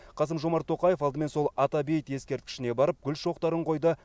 қасым жомарт тоқаев алдымен сол ата бейіт ескерткішіне барып гүл шоқтарын қойды